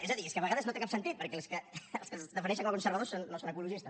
és a dir és que a vegades no té cap sentit perquè els que es defineixen com a conservadors no són ecologistes